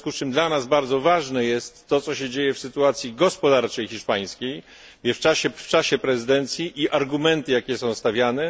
W związku z czym dla nas bardzo ważne jest, co się dzieje w sytuacji gospodarczej hiszpańskiej i w czasie prezydencji, i argumenty, jakie są stawiane.